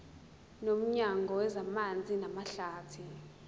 nomnyango wezamanzi namahlathi